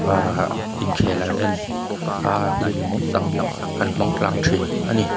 ahhh inkhel an en aa hun hlimawm tak an hmang tlang thin a ni.